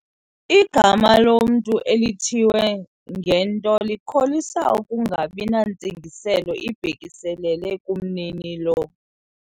Igama lomntu elithiywe ngento likholisa ukungabi nantsingiselo ibhekiselele kumninilo.